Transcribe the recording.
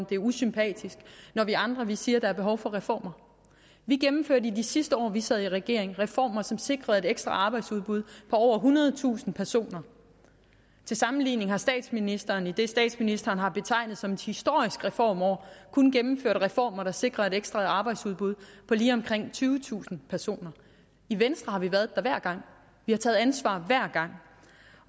det er usympatisk når vi andre siger at der er behov for reformer vi gennemførte i de sidste år vi sad i regering reformer som sikrede et ekstra arbejdsudbud på over ethundredetusind personer til sammenligning har statsministeren i det statsministeren har betegnet som et historisk reformår kun gennemført reformer der sikrede et ekstra arbejdsudbud på lige omkring tyvetusind personer i venstre har vi været der hver gang vi har taget ansvar hver gang